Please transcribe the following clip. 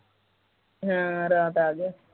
ਹਾਂ ਰਾਤ ਆ ਗਿਆ ਸੀ